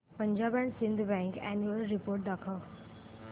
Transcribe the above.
Punjab and Sind bank annual report दाखव